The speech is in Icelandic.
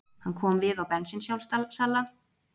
Hann kom við á bensínsjálfsala og fyllti tankinn